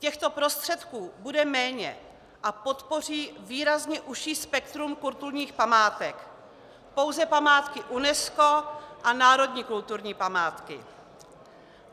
Těchto prostředků bude méně a podpoří výrazně užší spektrum kulturních památek, pouze památky UNESCO a národní kulturní památky.